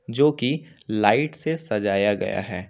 जो की लाइट से सजाया गया है।